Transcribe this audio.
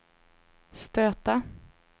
stöta